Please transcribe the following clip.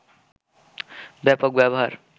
ব্যাপক ব্যবহার